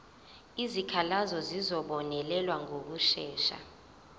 izikhalazo zizobonelelwa ngokushesha